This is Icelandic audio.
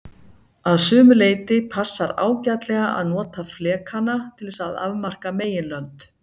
Að sumu leyti passar ágætlega að nota flekana til þess að afmarka meginlönd.